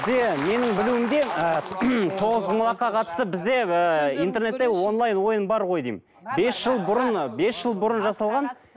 менің білуімде ы тоғызқұмалаққа қатысты бізде ы интернетте онлайн ойын бар ғой деймін бес жыл бұрын бес жыл бұрын жасалған